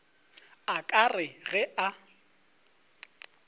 a ka re ge a